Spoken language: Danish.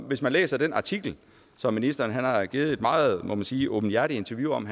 hvis man læser den artikel hvori ministeren har givet et meget må man sige åbenhjertigt interview om